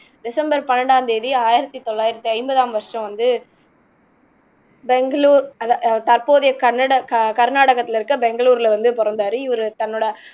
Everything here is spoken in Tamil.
டெசம்பர் பன்னிரெண்டாம் தேதி ஆயிரத்தி தொள்ளாயிரத்தி ஐம்பதாம் வருஷம் வந்து பெங்களூர் அ தற்போதைய கனட கர்நாடகத்துல இருக்க பெங்களூர்ல வந்து பொறந்தாரு இவரு தன்னோட